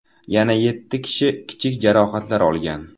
Yana yetti kishi kichik jarohatlar olgan.